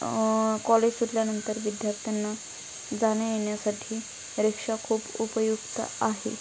अ college सुटल्यानंतर विध्यर्थ्यांना जाण्यायेण्यासाठी रिक्षा खूप उपयुक्त आहे.